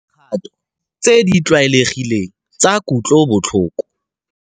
Dikgato tse di tlwaelegileng tsa kutlobotlhoko.